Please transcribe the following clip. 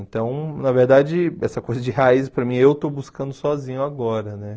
Então, na verdade, essa coisa de raiz, para mim, eu estou buscando sozinho agora, né?